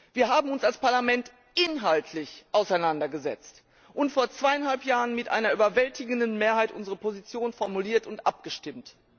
Wir haben uns als Parlament inhaltlich damit auseinandergesetzt und vor zweieinhalb Jahren mit einer überwältigenden Mehrheit unsere Position formuliert und abgestimmt.